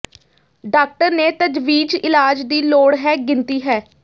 doctor ਨੇ ਤਜਵੀਜ਼ ਇਲਾਜ ਦੀ ਲੋੜ ਹੈ ਗਿਣਤੀ ਹੈ